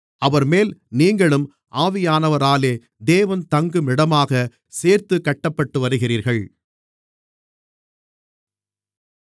அவர்மேல் நீங்களும் ஆவியானவராலே தேவன் தங்கும் இடமாகச் சேர்த்துக் கட்டப்பட்டுவருகிறீர்கள்